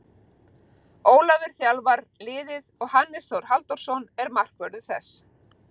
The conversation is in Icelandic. Ólafur þjálfar liðið og Hannes Þór Halldórsson er markvörður þess.